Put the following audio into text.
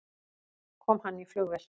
Kom hann í flugvél?